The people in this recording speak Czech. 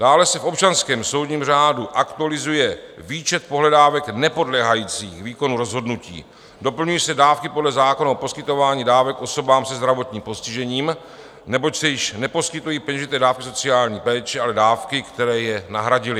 Dále se v občanském soudním řádu aktualizuje výčet pohledávek nepodléhajících výkonu rozhodnutí, doplňují se dávky podle zákona o poskytování dávek osobám se zdravotním postižením, neboť se již neposkytují peněžité dávky sociální péče, ale dávky, které je nahradily.